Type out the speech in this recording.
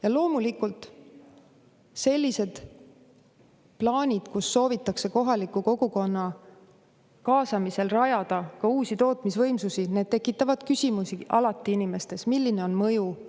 Jah, muidugi, plaanid rajada kohaliku kogukonna kaasamisel uusi tootmisvõimsusi tekitavad inimestes alati küsimusi, milline on nende mõju.